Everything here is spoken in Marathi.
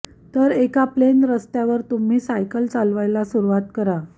तर एका प्लेन रस्तावर तुम्ही सायकल चालवायला सुरूवात करा